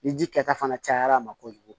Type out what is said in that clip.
Ni ji kɛta fana cayara a ma kojugu